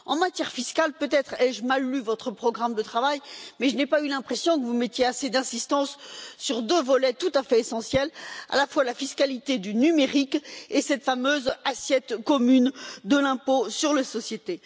En matière fiscale, peut être ai je mal lu votre programme de travail, mais je n'ai pas eu l'impression que vous mettiez assez d'insistance sur deux volets tout à fait essentiels à la fois la fiscalité du numérique et cette fameuse assiette commune de l'impôt sur les sociétés.